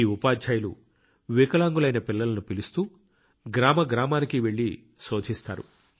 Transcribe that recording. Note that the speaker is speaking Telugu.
ఈ ఉపాధ్యాయులు వికలాంగులైన పిల్లలను పిలుస్తూ గ్రామ గ్రామానికి వెళ్లి శోధిస్తారు